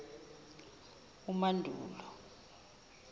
umandulo